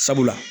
Sabula